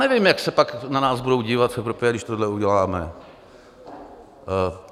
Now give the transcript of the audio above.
Nevím, jak se pak na nás budou dívat v Evropě, když tohle uděláme.